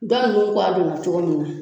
Dɔ nunnu kuwa donna cogo min na